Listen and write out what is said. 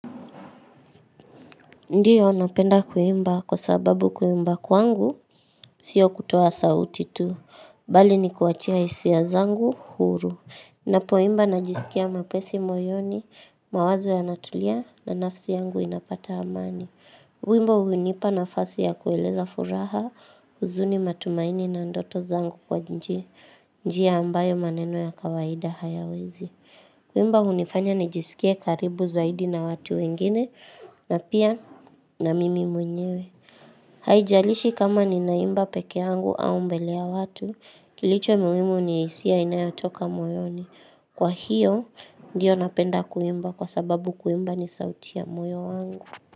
Ndiyo napenda kuimba kwa sababu kuimba kwangu siyo kutoa sauti tu. Bali ni kuachia hisia zangu huru. Na poimba najisikia mwepesi moyoni mawazo ya natulia na nafsi yangu inapata amani. kUimba hunipa nafasi ya kueleza furaha huzuni matumaini na ndoto zangu kwa njia ambayo maneno ya kawaida hayawezi. Kuimba hunifanya nijisikie karibu zaidi na watu wengine na pia na mimi mwenyewe. Haijalishi kama ninaimba peke yangu au mbele ya watu, kilicho muhimu ni hisia inayotoka moyoni. Kwa hiyo, ndiyo napenda kuimba kwa sababu kuimba ni sauti ya moyo wangu.